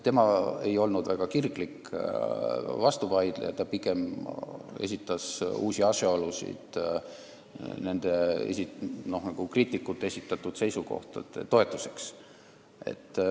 Ta ei olnud väga kirglik vastuvaidleja, ta esitas pigem uusi asjaolusid kriitikute esitatud seisukohtade toetuseks.